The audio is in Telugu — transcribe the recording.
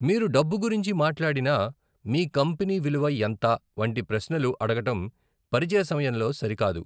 మీరు డబ్బు గురించి మాట్లాడినా, 'మీ కంపెనీ విలువ ఎంత' వంటి ప్రశ్నలు అడగడం పరిచయ సమయంలో సరికాదు.